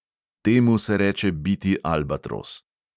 Temu se reče biti albatros.